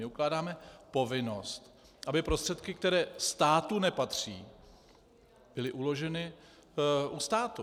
My ukládáme povinnost, aby prostředky, které státu nepatří, byly uloženy u státu.